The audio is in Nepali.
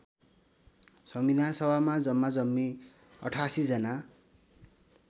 संविधानसभामा जम्माजम्मी ८८जना